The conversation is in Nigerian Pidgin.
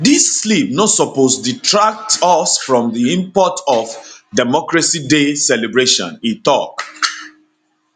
dis slip no suppose detract us from di import of democracy day celebration e tok